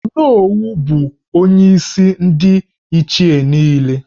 Onowu bụ onyeisi ndị Ndi Ichie niile